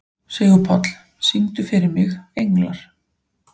Sigurpáll, syngdu fyrir mig „Englar“.